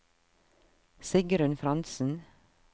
Sigrunn Frantzen